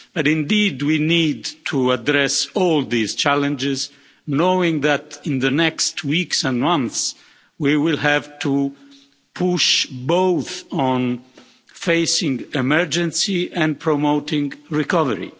Indeed we need to address all these challenges knowing that in the coming weeks and months, we will have to push on facing an emergency and promoting recovery.